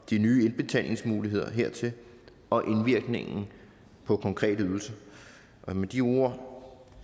de nye indbetalingsmuligheder hertil og indvirkningen på konkrete ydelser med de ord